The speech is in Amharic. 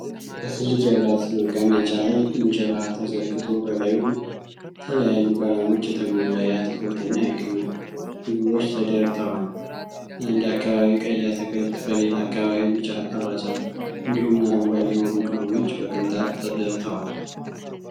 በትልቅ የብረት መቀመጫ ላይ እንጀራ ተዘርግቶ በላዩ በተለያዩ ቀለሞች የተሞላ የአትክልት እና የቅመም ምግቦች ተደርተዋል። በአንድ አካባቢ ቀይ አትክልት፣ በሌላ አካባቢ ቢጫ አልባሳት፣ እንዲሁም አረንጓዴ የሆኑ ቅመሞች በቅንጣት ተደርተዋል።